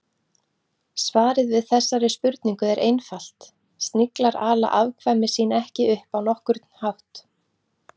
Svarið við þessari spurningu er einfalt: Sniglar ala afkvæmi sín ekki upp á nokkurn hátt.